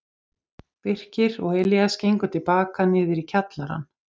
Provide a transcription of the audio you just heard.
Birkir og Elías gengu til baka niður í kjallarann.